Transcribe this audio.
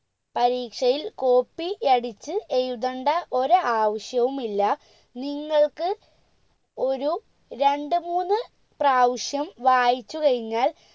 പരീക്ഷയിൽ copy യടിച് എഴുതണ്ട ഒരാവശ്യവും ഇല്ല നിങ്ങൾക്ക് ഒരു രണ്ട് മൂന്ന് പ്രാവിശ്യം വായിച്ചു കഴിഞ്ഞാൽ